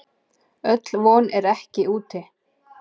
Öll von er ekki úti.